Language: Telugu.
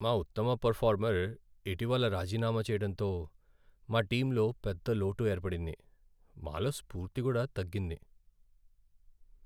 మా ఉత్తమ పెరఫార్మర్ ఇటీవల రాజీనామా చెయ్యడంతో మా టీంలో పెద్ద లోటు ఏర్పడింది, మాలో స్ఫూర్తి కూడా తగ్గింది.